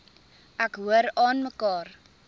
ek hoor aanmekaar